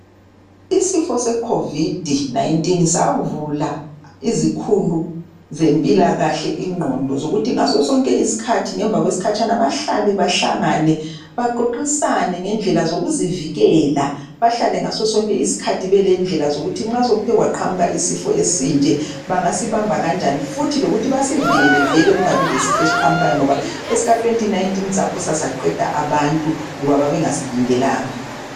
Isifo seCovid 19 savula izikhulu zempilakahle ingqondo zokuthi ngaso sonke isikhathi ngemva kwesikhatshana bahlale bahlangane baxoxisane ngendlela zokuzivikela bahlale ngaso sonke isikhathi belendlela zokuthi nxa sekuthe kwaqhamuka isifo esinje bangasibamba kanjani futhi lokuthi basivikele vele kungabi lesifo esiqhamukayo ngoba esika2019 saphosa saqeda abantu ngoba babengasilindelanga.